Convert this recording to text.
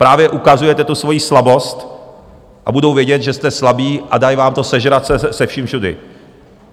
Právě ukazujete tu svoji slabost a budou vědět, že jste slabí, a dají vám to sežrat, se vším všudy.